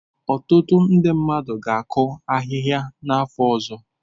Ọtụtụ ndị mmadụ ga-akụ ahịhịa n'afọ ọzọ.